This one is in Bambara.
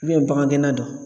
bagan gɛnna dɔ